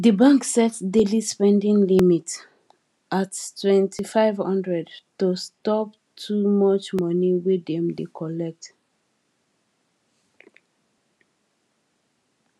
di bank set daily spending limit at 2500 to stop too much money wey dem dey collect